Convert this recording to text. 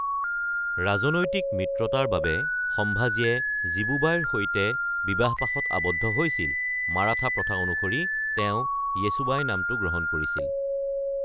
ৰাজনৈতিক মিত্ৰতাৰ বাবে সম্ভাজীয়ে জীৱুবাইৰ সৈতে বিবাহপাশত আবদ্ধ হৈছিল, মাৰাঠা প্ৰথা অনুসৰি তেওঁ য়েচুবাই নামটো গ্ৰহণ কৰিছিল।